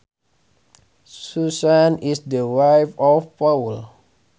Susan is the wife of Paul